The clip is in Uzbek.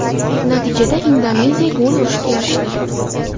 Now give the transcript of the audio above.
Natijada Indoneziya gol urishga erishdi.